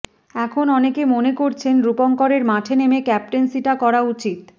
এখন অনেকে মনে করছেন রূপঙ্করের মাঠে নেমে ক্যাপ্টেন্সিটা করা উচিত